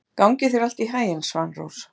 Gangi þér allt í haginn, Svanrós.